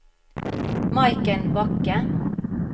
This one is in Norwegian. Maiken Bakke